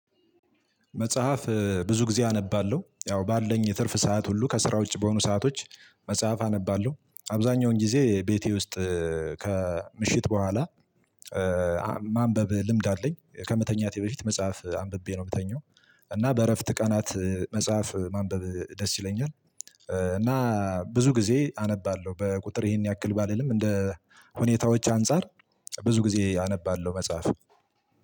መጽሐፍ ብዙ ጊዜ አነባለሁ ያው ባለኝ ትርፍ ሰዓት ሁሉ ከስራ ውጪ በሆኑ ሰአቶች መጽሐፍ አነባለሁ አብዛኛውን ጊዜ ቤቴ ውስጥ ከምሽት በኋላ ማንበብ ልምድ አለኝ ከመተኛቴ በፊት መጽሐፍ አንብቤ ነው የምተኛው። እና በእረፍት ቀናት መጽሐፍ ማንበብ ደስ ይለኛል። እና ብዙ ጊዜ አነባለሁ በቁጥር ይሄን ያክል ባልልም እንደ ሁኔታዎች አንፃር ብዙ ጊዜ አነባለሁ መጽሐፍ።